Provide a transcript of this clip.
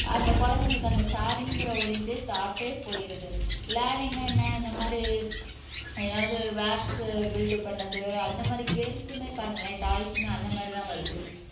அந்த குழந்தைங்களுக்கு அந்த ஷேருங்கிற ஒரு இதே தாட்டே போயிடுது பிளானிங்ன்னா என்ன இந்த மாதிரி ஏதாவது பில்ட் பண்ணது அந்த மாதிரி கேம்ஸ்மே பாருங்களேன் டாய்ஸ்மே அந்த மாதிரிதான் வருது